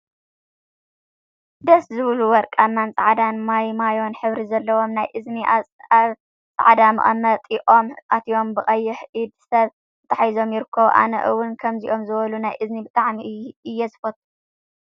ደስ ዝብሉ ወርቃማን ጻዕዳ ማይማዮ ሕብሪ ዘለዎም ናይ እዝኒ ኣብ ጻዕዳ መቀመጢኦም ኣትዮም ብቀይሕ ኢድ ሰብ ተታሒዞም ይርከቡ። ኣነ እውን ከምዚኦም ዝበሉ ናይ እዝኒ ብጣዕሚ እየ ዝፈቱ።